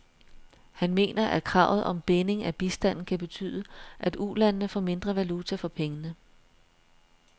Han mener, at kravet om binding af bistanden kan betyde, at ulandene får mindre valuta for pengene.